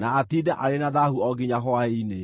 na atiinde arĩ na thaahu o nginya hwaĩ-inĩ.